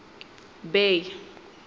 bay